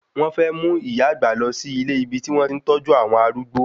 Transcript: Wón fẹ́ mú ìyá àgbà lọ sí ilé ibi tí wọ́n ti ń tọ́jú àwọn arúgbó